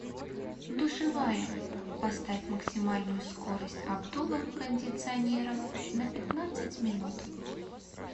душевая поставь максимальную скорость обдува кондиционера на пятнадцать минут